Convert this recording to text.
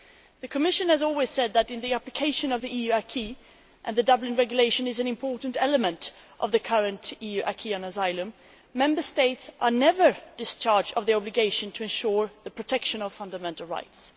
The Commission has always said that in the application of the EU acquis and the Dublin regulation is an important element of the current EU acquis on asylum Member States are never discharged of the obligation to ensure the protection of fundamental rights.